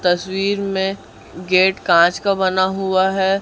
तस्वीर में गेट कांच का बना हुआ है।